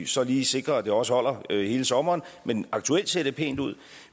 så lige sikre at det også holder hele sommeren men aktuelt ser det pænt ud